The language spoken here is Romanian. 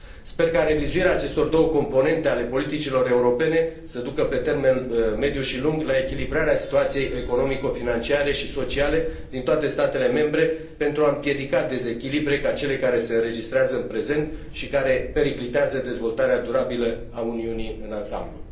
Sper ca revizuirea acestor două componente ale politicilor europene să ducă pe termen mediu și lung la echilibrarea situației economico financiare și sociale din toate statele membre pentru a împiedica dezechilibre de tipul celor care se înregistrează în prezent și care periclitează dezvoltarea durabilă a Uniunii în ansamblu.